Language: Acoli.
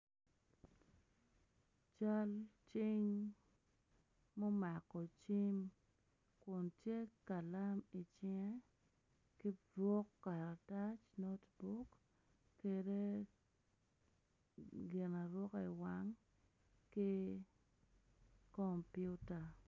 Cal cing mumako cim kun tye ka nen icinge ki buk karatac me coc kede gin aruka iwang ki komputa